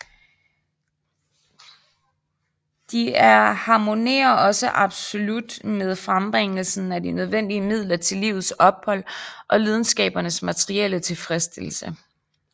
De er harmonerer også absolut med frembringelsen af de nødvendige midler til livets ophold og lidenskabernes materielle tilfredsstillelse